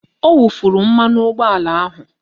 Ọ wufuru mmanụ ụgbọala ahụ